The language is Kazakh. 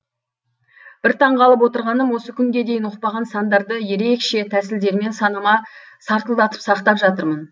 бір таңғалып отырғаным осы күнге дейін ұқпаған сандарды ерекше тәсілдермен санама сартылдатып сақтап жатырмын